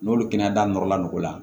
N'olu kɛnɛya da nɔrɔla n'o la